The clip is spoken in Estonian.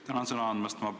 Tänan sõna andmast!